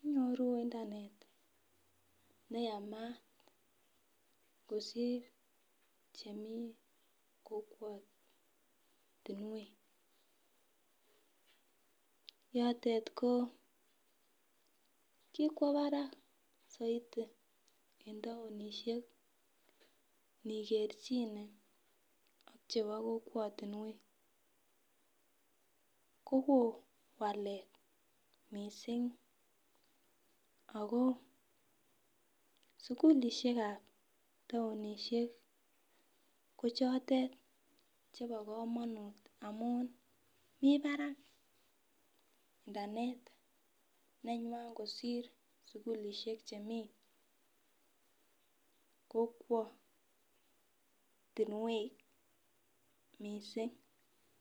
inyoru internet neyamat kosir chemii kokwotunwek, yotet ko kikwo barak soiti en townishek nikerchine ak chebo kokwotunwek kowoo walet missing ako sukulishekab townishek ko choton chebo komonut amun mii barak internet nenywa. Kosir sukulishek chemii kokwotinwek missing.